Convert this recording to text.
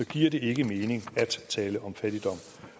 giver det ikke mening at tale om fattigdom